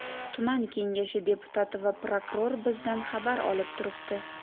Tuman kengashi deputati va prokuror bizdan xabar olib turibdi.